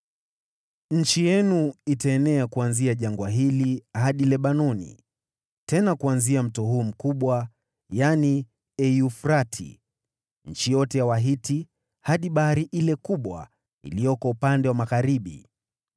Nchi yenu itaenea kuanzia jangwa hili hadi Lebanoni, tena kuanzia mto mkubwa wa Frati, yaani nchi yote ya Wahiti, hadi Bahari ile Kubwa iliyoko upande wa magharibi.